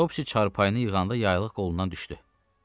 Topsy çarpayını yığanda yaylıq qolundan düşdü.